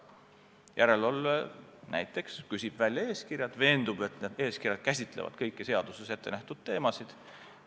Järelevalve aga nõuab välja eeskirjad, veendub, et need hõlmavad kõiki seaduses ettenähtud teemasid.